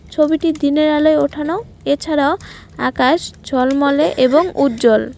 ছবিটি দিনের আলোর ওঠানো এছাড়াও আকাশ ঝলমলে এবং উজ্জ্বল।